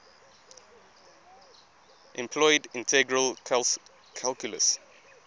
employed integral calculus